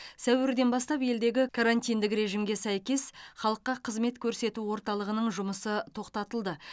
сәуірден бастап елдегі карантиндік режимге сәйкес халыққа қызмет көрсету орталығының жұмысы тоқтатылды